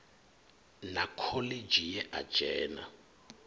na khoḽidzhi ye a dzhena